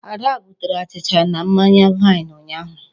Ada butere achịcha na mmanya vine ụnyaahụ.